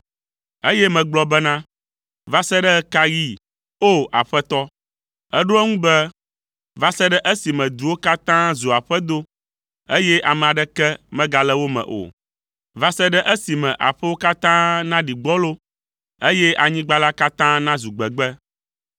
Eye megblɔ bena “Va se ɖe ɣe ka ɣi, O! Aƒetɔ?” Eɖo ŋu be, “Va se ɖe esime duwo katã zu aƒedo, eye ame aɖeke megale wo me o. Va se ɖe esime aƒewo katã naɖi gbɔlo, eye anyigba la katã nazu gbegbe.